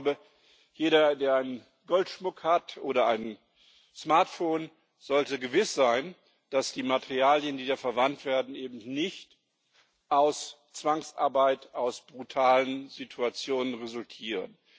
Ich glaube, jeder, der Goldschmuck oder ein Smartphone hat, sollte sicher sein, dass die Materialien, die da verwendet werden, eben nicht aus Zwangsarbeit, aus brutalen Situationen resultieren.